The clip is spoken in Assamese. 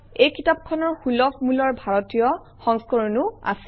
এই কিতাপখনৰ সুলভ মূলৰ ভাৰতীয় সংস্কৰণো আছে